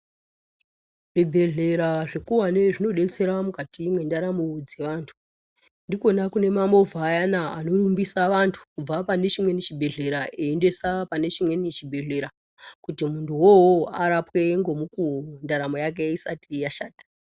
Zvibhedhlera zvikuwani zvinodetsera , mukati mendaramo dzeantu. Ndikona kune mamovha ayana, anorumbisa vantu kubva pane chimweni chibhedhlera ,eiendesa pane chimweni chibhedhlera, kuti muntuwo uwowo, arapwe ngemukuwo, ndaramo yake isati yashata.